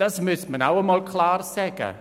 Das sollte auch einmal klar gesagt werden.